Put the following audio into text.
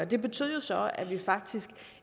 det betød jo så at vi faktisk